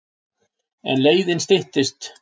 En leiðin styttist.